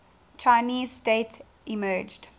chinese state emerged